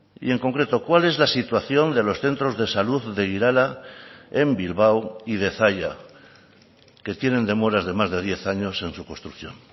y en concreto cuál es la situación de los centros de salud de irala en bilbao y de zalla que tienen demoras de más de diez años en su construcción